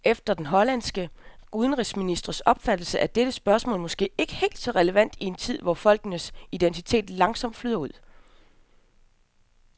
Efter den hollandske udenrigsministers opfattelse er dette spørgsmål måske ikke helt så relevant i en tid, hvor folkenes identitet langsomt flyder ud.